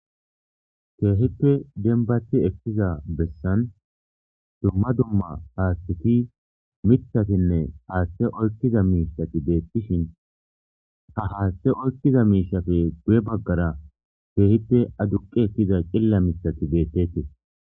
Keehippe dembati ekiza beesan dumma dumma haaththati mithatinne haathe oykkida miishati beetishin ha haathe oykida miishati goyye bagara keehippe aduqqi ekkida qilla mithati beteetees.